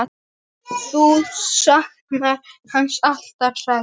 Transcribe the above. Þú saknar hans alltaf, sagði